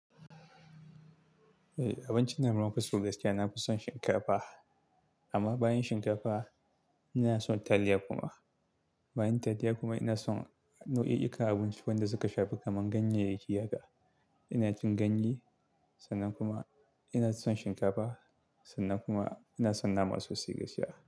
Eh, abinci na mafi so Gaskiya na fi son shinkafa. Amma bayan shinkafa ina son taliya kuma. Bayan taliya kuma ina son nau'i-'inka abinci wanda suka shafi kamar ganye da giya ga. Ina cin ganye sannan kuma ina son shinkafa sannan kuma ina son nama sosai gaskiya.